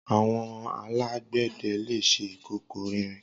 Awọn àlágbẹdẹ lé ṣé ikókó ìrín